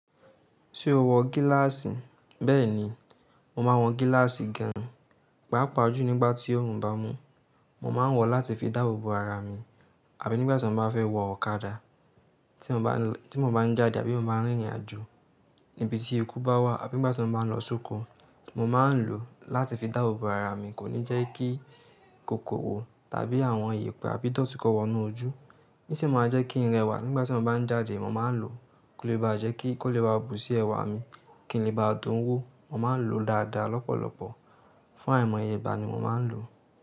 Tí o wọ gíláàsì, bẹ́ẹ̀ni, mo máa ń wọ gíláàsì gan, pàápàá jù nígbà tí oòrùn bá mú. Mo máa ń wọ̀ láti fi dáàbò bo ara mi àbí nígbà tí mo bá fẹ́ wọ ọ̀kadà, tí mo bá ń jáde àbí mo bá ń rìnrìn àjò níbi tí ikú bá wà àbí nígbà tí mo bá ń lọ sóko. Mo máa ń lò ó láti fi dáàbò bo ara mi, kó ní jẹ́ kí kòkòrò tàbí àwọn iyẹ̀pẹ̀ àbí dọ̀tí kó wọnú ojú. O sin máa ń jẹ́ kí n rẹwà. Nígbà tí mo bá ń jáde, mo máa ń lò ó kí ó lè bá jẹ́ kí ó lè bu sí ẹwà mi kí n lè bá dùn wò. Mo máa ń lò ó dáadáa, lọ́pọ̀lọpọ̀. Fún àìmọye igbà ni mo máa ń lò ó.